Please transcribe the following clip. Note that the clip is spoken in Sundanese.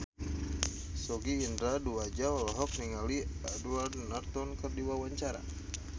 Sogi Indra Duaja olohok ningali Edward Norton keur diwawancara